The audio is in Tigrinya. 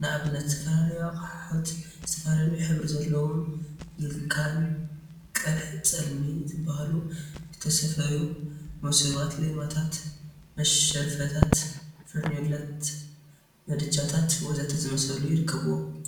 ንአብነት ዝተፈላለዩ አቁሑት ዝተፈላለየ ሕብሪ ዘለዎም ብላካን ቅሐ ፅልሚ ዝበሃሉ ዝተሰፈዩ መሶባት፣ ሌማታት፣ መሽረፈታት፣ ፈርኔሎታ፣ ምድጃታት ወዘተ ዝመሳሰሉ ይርከቡዎም